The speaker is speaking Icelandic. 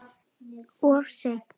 Of seint